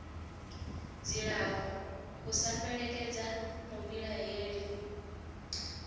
dzilafho u sa fhelekedza muvhilaheli